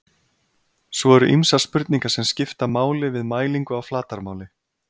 Svo eru ýmsar spurningar sem skipta máli við mælingu á flatarmáli.